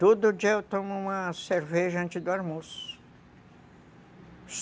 Todo dia eu tomo uma cerveja antes do almoço.